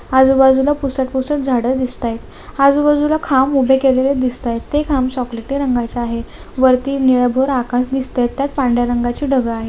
आजुबाजुला पुसत पुसत झाडे दिसताय आजुबाजुला खांब उभे केलेले दिसताय ते खांब चॉकलेटी रंगाचे आहे वरती निळ भोर आकाश दिसताय त्यात पांढऱ्या रंगाचं ढग आहे.